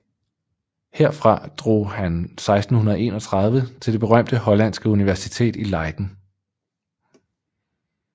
Herfra drog han 1631 til det berømte hollandske universitet i Leiden